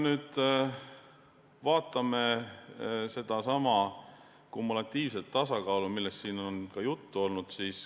Vaatame sedasama kumulatiivset tasakaalu, millest siin on juba juttu olnud.